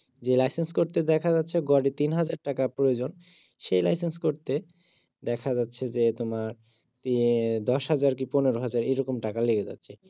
যে লাইসেন্স করতে দেখা যাচ্ছে গড়ে তিন হাজার টাকা প্রয়োজন সেই লাইসেন্স করতে দেখা যাচ্ছে যে হম দশ হাজার কি পনেরো হাজার এইরকম টাকা লেগে যাচ্ছে